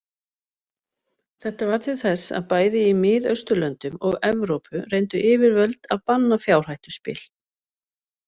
Þetta varð til þess að bæði í Mið-Austurlöndum og Evrópu reyndu yfirvöld að banna fjárhættuspil.